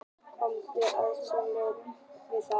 Gúmmískór bóndans eins og skáldið skildi við þá